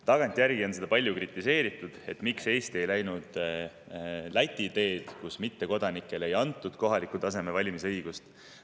Tagantjärele on palju kritiseeritud seda, miks Eesti ei läinud Läti teed, kus mittekodanikele ei antud kohalikul tasemel valimise õigust.